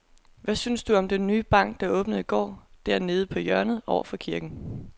Hvad synes du om den nye bank, der åbnede i går dernede på hjørnet over for kirken?